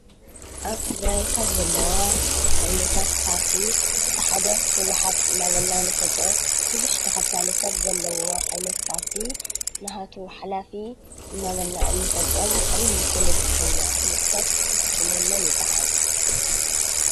ኣብ ትግራይ ካብ ዘለዋ ዓይነታት ፓርቲ እቲ ሓደ ህወሓት እናበልና ንፈልጦ ብዙሕ ተኸታሊ ሰብ ዘለዎ ዓይነት ፓርቲ ናሃቱ ሓላፊ እናበልና ንፈልጦም ዓብዪ ፖለቲከኛ ፍሉጥ ሰብ ሽሙ መን ይባሃል?